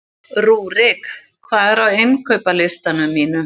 Rúrik, hvað er á innkaupalistanum mínum?